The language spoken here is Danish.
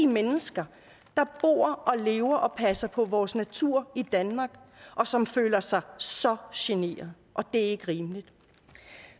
mennesker der bor og lever og passer på vores natur i danmark og som føler sig så generet og det er ikke rimeligt